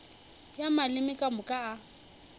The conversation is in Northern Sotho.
ya maleme ka moka a